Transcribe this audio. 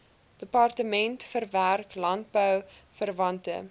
departement verwerk landbouverwante